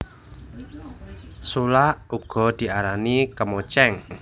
Sulak uga diarani kemocéng